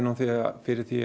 fyrir því